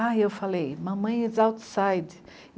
eu falei, mamãe is outside.